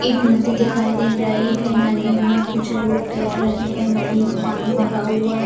एक नदी दिखाई दे रही है नदी में कुछ लोग तैर रहे हैं नदी में पानी भरा हुआ --